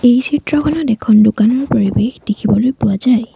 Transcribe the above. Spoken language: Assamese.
এই চিত্ৰখনত এখন দোকানৰ পৰিৱেশ দেখিবলৈ পোৱা যায়।